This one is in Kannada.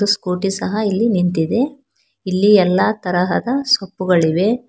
ಸ್ಕೂಟಿ ಸಹ ಇಲ್ಲಿ ನಿಂತಿದೆ ಇಲ್ಲಿ ಎಲ್ಲಾ ತರಹದ ಸೊಪ್ಪುಗಳಿವೆ.